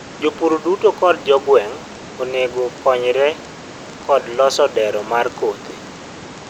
jopur duto kod jogueng onego onego okonyre kod loso dero mar kothe